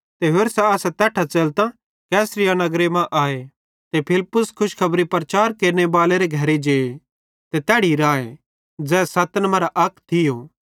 ते होरसां असां तैट्ठां च़ेलतां कैसरिया नगरे मां आए ते फिलिप्पुस खुशखबरी प्रचार केरनेबालेरे घरे जे ते तैड़ी राए ज़ै सत्तन मरां अक थियो